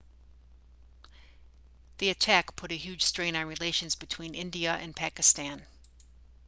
the attack put a huge strain on relations between india and pakistan